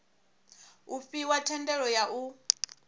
u fhiwa thendelo ya u